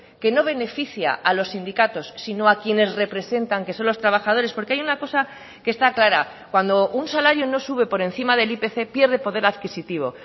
que no beneficia a los sindicatos sino a quienes representan que son los trabajadores porque hay un acosa que está clara cuando un salario no sube por encima del ipc pierde poder adquisitivo